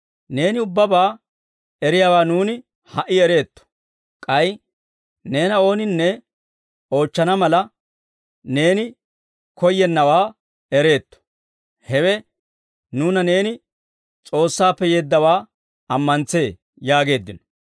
Neeni ubbabaa eriyaawaa nuuni ha"i ereetto; k'ay neena ooninne oochchana mala, neeni koyyennawaa ereetto. Hewe nuuna neeni S'oossaappe yeeddawaa ammantsee» yaageeddino.